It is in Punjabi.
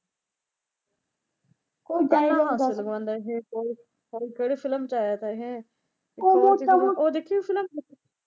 . ਪਤਾ ਨਈਂ ਕਿਹੜੀ ਫ਼ਿਲਮ ਚ ਆਇਆ ਤਾ ਇਹ ਉਹ ਦੇਖੀ ਫ਼ਿਲਮ?